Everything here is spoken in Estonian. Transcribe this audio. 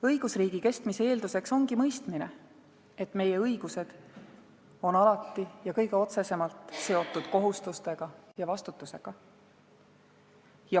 Õigusriigi kestmise eeldus ongi mõistmine, et meie õigused on alati ja kõige otsesemalt seotud kohustustega ja vastutusega.